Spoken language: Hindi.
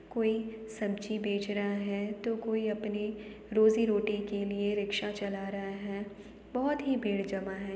कोई सब्जी बेच रहा है तो कोई अपने रोजी रोटी के लिए रिक्शा चला रहा है। बहोत ही भीड़ जमा है।